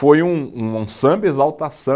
Foi um, um samba